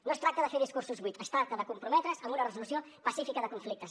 no es tracta de fer discursos buits es tracta de comprometre’s amb una resolució pacífica de conflictes